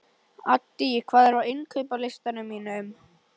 Addý, hvað er á innkaupalistanum mínum?